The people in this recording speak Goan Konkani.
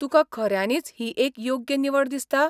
तुका खऱ्यानीच ही एक योग्य निवड दिसता?